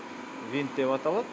винт деп аталады